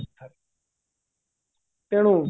ତେଣୁ